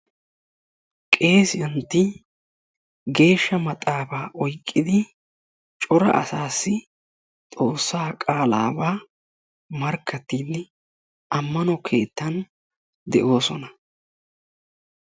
Qeesiyantti geeshsha maxaafaa oyqqidi cora asasi xoossaa qaalaba markkattidi ammano keettan deosona.